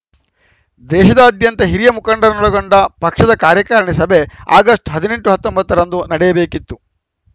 ದೇಶಾದ್ಯಂತ ಹಿರಿಯ ಮುಖಂಡರನ್ನೊಳಗೊಂಡ ಪಕ್ಷದ ಕಾರ್ಯಕಾರಿಣಿ ಸಭೆ ಆಗಸ್ಟ್ ಹದಿನೆಂಟು ಹತ್ತೊಂಬತ್ತ ರಂದು ನಡೆಯಬೇಕಿತ್ತು